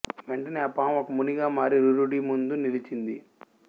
వెంటనే ఆ పాము ఒక మునిగా మారి రురుడి ముందు నిలిచింది